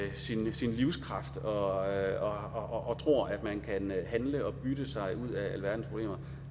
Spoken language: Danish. sin livskraft og tror at man kan handle og bytte sig ud af alverdens problemer